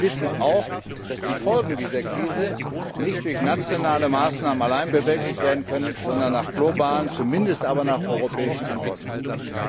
Sie wissen auch, dass die Folgen dieser Krise nicht durch nationale Maßnahmen allein bewältigt werden können, sondern indem wir nach globalen, zumindest aber nach europäischen Antworten suchen.